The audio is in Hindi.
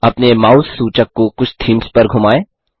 अपने माउस सूचक को कुछ थीम्स पर धुमाएँ